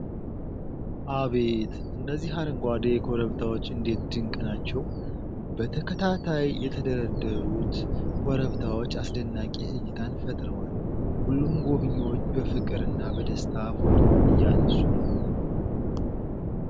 አቤት! እነዚህ አረንጓዴ ኮረብታዎች እንዴት ድንቅ ናቸው! በተከታታይ የተደረደሩት ኮረብታዎች አስደናቂ እይታን ፈጥረዋል! ሁሉም ጎብኚዎች በፍቅርና በደስታ ፎቶ እያነሱ ነው።